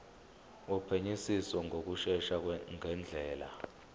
wophenyisiso ngokushesha ngendlela